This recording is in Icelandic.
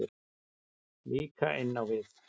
Líka inn á við.